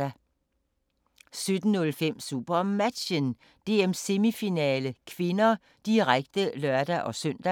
17:05: SuperMatchen: DM-semifinale (k), direkte (lør-søn) 17:54: